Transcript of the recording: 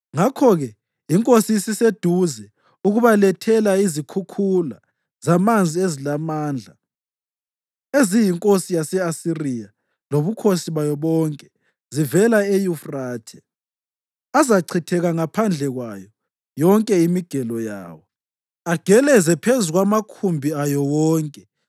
ngakho-ke iNkosi isiseduze ukubalethela izikhukhula zamanzi ezilamandla, eziyinkosi yase-Asiriya lobukhosi bayo bonke, zivela eYufrathe. Azachithekela ngaphandle kwayo yonke imigelo yawo, ageleze phezu kwamakhumbi ayo wonke,